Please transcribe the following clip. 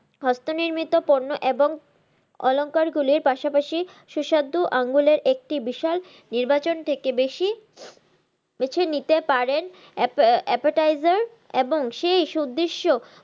হস্ত নির্মিত পন্য এবং অলঙ্কার গুলির পাশাপাশি সুসাধ্য আঙ্গুলের একটি বিষয় নির্বাচন থেকে বেশি বেছে নিতে পারে Appetizer এবং সেই সুদৃশ্য